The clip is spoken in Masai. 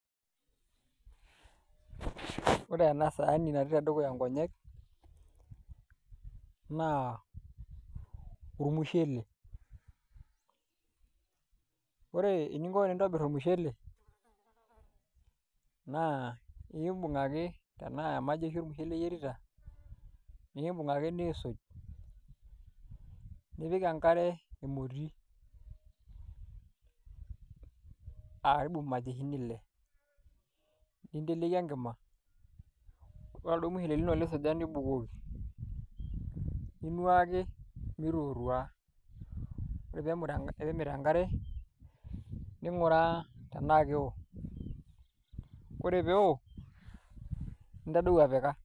Ore ena saani natii tedukuya nkonyek naa ormushele ore eninko tenintobirr ormushele naa imbung' ake temaa emajeshi ormushele iyierita niibung' ake niisuj nipik enkare emoti karibu imajeshini ile ninteleiki enkima ore oladuo mushele lino lisuja nibukoki ninuaki mitootua, ore pee emit enkare ning'uraa tenaa keeo kore pee eeo, nintadou apika.